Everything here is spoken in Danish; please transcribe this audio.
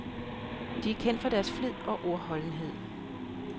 De er kendt for deres flid og ordholdenhed.